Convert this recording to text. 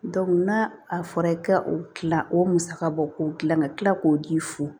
n'a a fɔra i ka o kila o musaka bɔ k'o dilan ka tila k'o d'i f